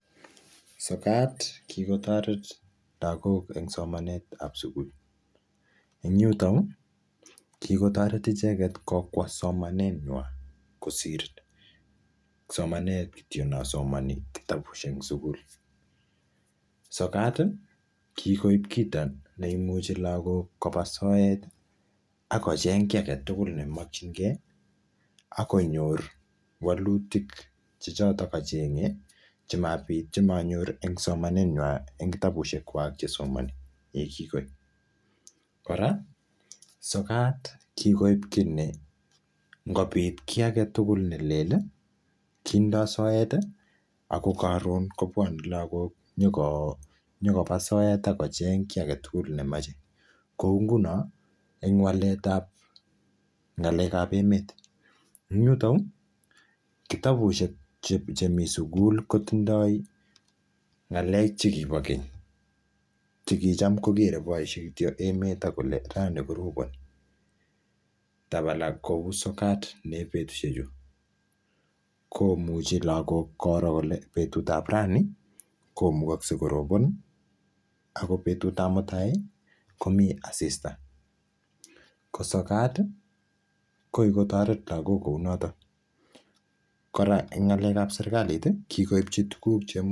sokat kikotoret lagok en somanetab sugul en yuton yuu kikotoret icheket kokwo omanet ngwan kosir somanet kityok nosomoni kitabushek en sugul sokati kikoib kito neimuche lagok koba soeti akocheng kia agetugul neokyiknkee akonyor wolutik chechotok gochenge chemabit chemanyor en somanenywan en kitabushekwak chesomini yekikoit kora sokat kikoib kit ne ngobit kii agetugul nelel ii kindo soeti ako koron kobwone logok nyokoo nyokobaa soet akocheng kii agetugul nemoche kou ngunon en waletab ngalekab emet en yuto yuu kitabushek chemi suguli kotindo ngalek chekibo keny chukicham kokere boishek kityok en emet akolen rani koroboni tabala kou sokat niep petshechu komuche lagok koro kole betutab rani komukokse koroboni ako betutab mutai komi asista ko sokat koikotoret lagok kounoton kora en ngalekab serkaliti kikobchi tuguk cheimuchi